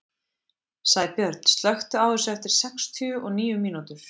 Sæbjörn, slökktu á þessu eftir sextíu og níu mínútur.